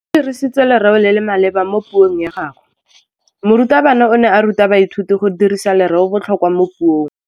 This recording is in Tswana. O dirisitse lerêo le le maleba mo puông ya gagwe. Morutabana o ne a ruta baithuti go dirisa lêrêôbotlhôkwa mo puong.